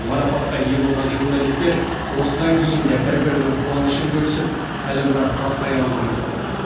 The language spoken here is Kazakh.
марапатқа ие болған журналистер осыдан кейін де бір бірінің қуанышын бөлісіп әлі біраз тарқай алмай тұрды